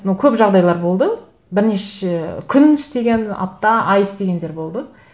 ну көп жағдайлар болды бірнеше күн істеген апта ай істегендер болды